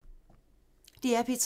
DR P3